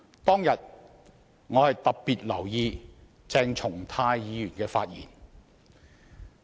當天，我特別留意鄭松泰議員的發言。